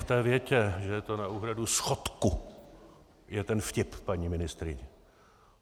V té větě, že je to na úhradu schodku, je ten vtip, paní ministryně.